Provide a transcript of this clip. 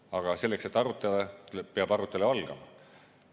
Aga selleks, et arutada, peab arutelu algama.